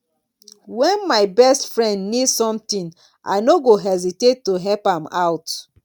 when my best friend need something i no go hesitate to help am out